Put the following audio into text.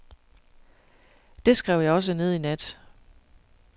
Det skrev jeg også ned i nat.